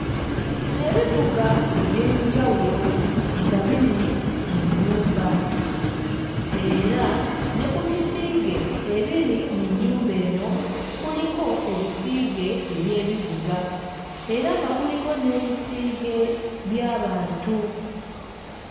Ebivuga eby'enjawulo nga biri mu nnyumba era ne ku bisiige ebiri mu nnyumba eno kuliko ebisiige eby'ebivuga era nga kuliko n'ebisiige by'abantu.